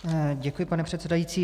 Děkuji, pane předsedající.